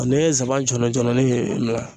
N'i ye nsaban jɔlɔjɔlɔnin ye